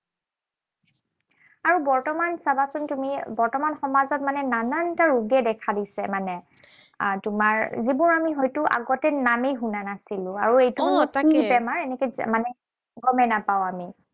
আৰু বৰ্তমান চাবাচোন তুমি, বৰ্তমান সমাজত মানে নানান এটা ৰোগে দেখা দিছে মানে। আহ তোমাৰ যিবোৰ আমি হয়তো আগতে নামেই শুনা নাছিলো। বেমাৰ মানে গমেই নাপাওঁ আমি।